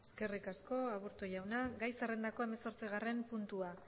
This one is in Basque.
eskerrik asko aburto jauna gai zerrendako hemezortzigarren puntua